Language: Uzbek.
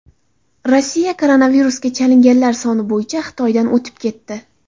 Rossiya koronavirusga chalinganlar soni bo‘yicha Xitoydan o‘tib ketdi.